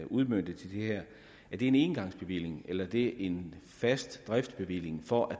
udmøntet til det her er det en engangsbevilling eller er det en fast driftsbevilling for at